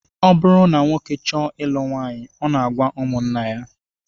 Ọ bụrụ na nwoke chọọ ilu nwaanyị, ọ na-agwa ụmụnna ya